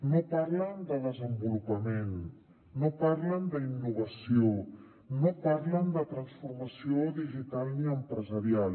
no parlen de desenvolupament no parlen d’innovació no parlen de transformació digital ni empresarial